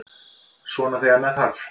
Svona þegar með þarf.